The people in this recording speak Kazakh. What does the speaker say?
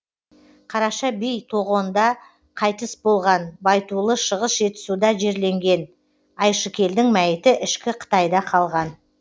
қараша би тоғонда қайтыс болған байтулы шығыс жетісуда жерленген айшыкелдің мәйіті ішкі қытайда қалған